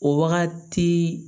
O wagati